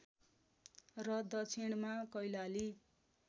र दक्षिणमा कैलाली